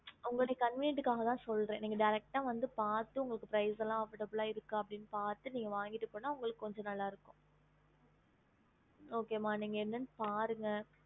ஹம்